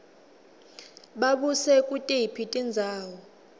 babuse kutiphi tindzawo